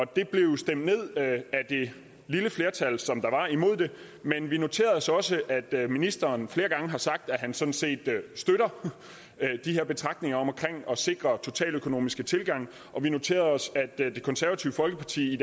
det blev stemt ned af det lille flertal som der var imod det men vi noterede os også at ministeren flere gange har sagt at han sådan set støtter de her betragtninger om at sikre en totaløkonomisk tilgang og vi noterede os at det konservative folkeparti i